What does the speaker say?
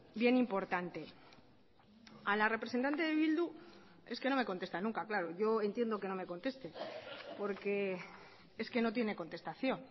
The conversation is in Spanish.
bien importante a la representante de bildu es que no me contesta nunca claro yo entiendo que no me conteste porque es que no tiene contestación